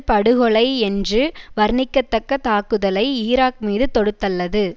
படுகொலை என்று வர்ணிக்கத்தக்க தாக்குதலை ஈராக் மீது தொடுத்தள்ளது